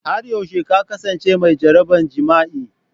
Har yaushe ka kasance mai jaraban jima'i?